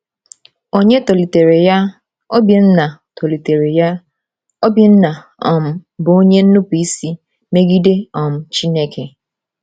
Onye tọlitere ya, Obinna, tọlitere ya, Obinna, um bụ onye nnupụisi megide um Chineke.